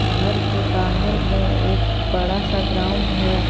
घर के बाहर में एक बड़ा सा ग्राउंड है।